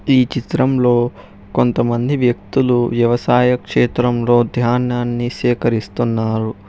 ఈ చిత్రంలో కొంతమంది వ్యక్తులు వ్యవసాయ క్షేత్రంలో ధ్యానాన్ని సేకరిస్తున్నారు.